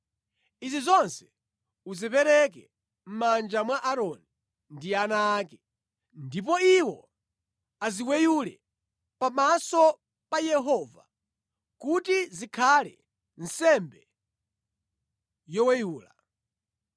Izi zonse uzipereke mʼmanja mwa Aaroni ndi ana ake, ndipo iwo aziweyule pamaso pa Yehova kuti zikhale nsembe yoweyula.